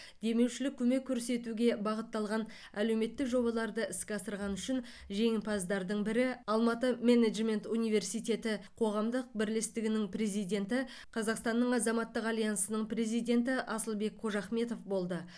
демеушілік көмек көрсетуге бағытталған әлеуметтік жобаларды іске асырғаны үшін жеңімпаздардың бірі алматы менеджмент университеті қоғамдық бірлестігінің президенті қазақстанның азаматтық альянсының президенті асылбек қожахметов болды